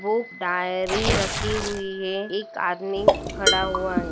वो डायरी रखी हुई है एक आदमी खड़ा हुआ है।